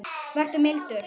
Vertu mildur.